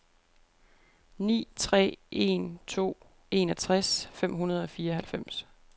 ni tre en to enogtres fem hundrede og fireoghalvfems